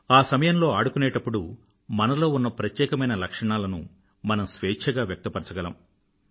ఆ సమయంలో ఆడుకునేప్పుడు మనలో ఉన్న ప్రత్యేకమైన లక్షణాలను మనం స్వేఛ్ఛగా వ్యక్తపరచగలము